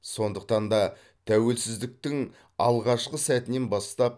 сондықтан да тәуелсіздіктің алғашқы сәтінен бастап